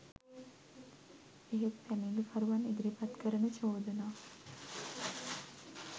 එහෙත් පැමිණිලිකරුවන් ඉදිරිපත් කරන චෝදනා